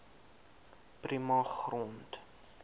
prima grond